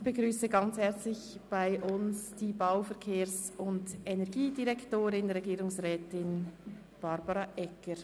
Ich begrüsse bei uns herzlich die Bau-, Verkehrs- und Energiedirektorin, Regierungsrätin Barbara Egger.